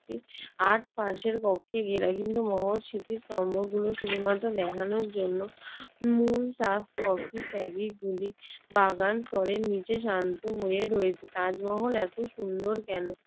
Art পাশের কক্ষে ঘেরা। কিন্তু মহৎ স্মৃতিস্তম্ভগুলো শুধুমাত্র দেখানোর জন্য। মূল বাগান স্তরের নিচে শান্ত হয়ে রয়েছে। তাজমহল এত সুন্দর কেন?